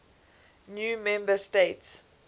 new member states